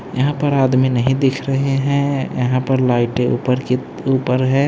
यहां पर आदमी नहीं दिख रहे हैं यहां पर लाइटे ऊपर के ऊपर है।